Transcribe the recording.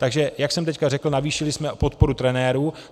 Takže jak jsem teď řekl, navýšili jsme podporu trenérů.